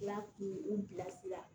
N'a kun u bilasira